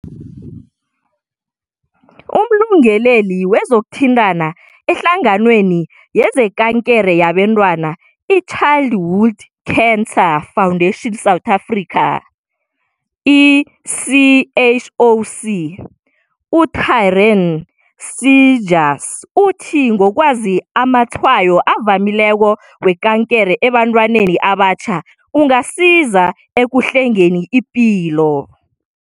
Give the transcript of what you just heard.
UmLungeleli wezokuThintana eHlanganweni yezekankere yabantwana iChildhood Cancer Foundation South Africa, i-CHOC, u-Taryn Seegers uthi ngokwazi amatshayo avamileko wekankere ebantwini abatjha, ungasiza ekuhlengeni ipilo.